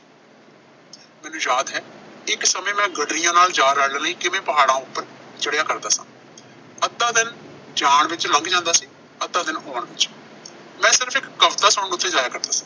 ਮੈਨੂੰ ਯਾਦ ਹੈ ਇੱਕ ਸਮੇਂ ਮੈਂ ਗੱਡਰੀਆਂ ਨਾਲ ਜਾ ਰਲਣ ਲਈ ਕਿਵੇਂ ਪਹਾੜਾਂ ਉੱਪਰ ਚੜਿਆ ਕਰਦਾ ਸਾਂ। ਅੱਧਾ ਦਿਨ ਜਾਣ ਵਿੱਚ ਲੰਘ ਜਾਂਦਾ ਸੀ, ਅੱਧਾ ਦਿਨ ਆਉਣ ਵਿੱਚ। ਮੈਂ ਸਿਰਫ਼ ਇੱਕ ਕਵਿਤਾ ਸੁਣਾਉਣ ਉਥੇ ਜਾਇਆ ਕਰਦਾ ਸੀ।